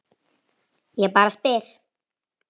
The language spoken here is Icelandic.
Ég bara spyr